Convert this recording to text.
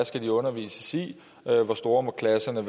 skal undervises i og hvor store klasserne